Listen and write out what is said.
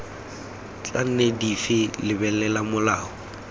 tla nne dife lebelela molao